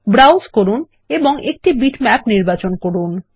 browse করুন এবং একটি বিটম্যাপ নির্বাচন করুন